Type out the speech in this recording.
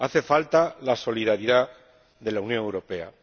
Hace falta la solidaridad de la Unión Europea.